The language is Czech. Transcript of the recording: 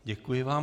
Děkuji vám.